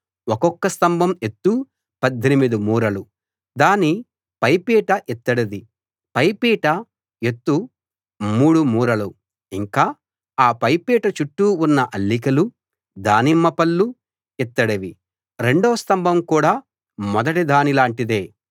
ఒక్కొక స్తంభం ఎత్తు 18 మూరలు దాని పైపీట ఇత్తడిది పైపీట ఎత్తు మూడు మూరలు ఇంకా ఆ పైపీట చుట్టూ ఉన్న అల్లికలూ దానిమ్మ పళ్ళూ ఇత్తడివి రెండో స్తంభం కూడా మొదటి దాని లాంటిదే